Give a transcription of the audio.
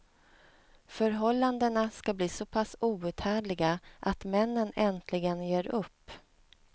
Förhållandena ska bli så pass outhärdliga att männen äntligen ger upp.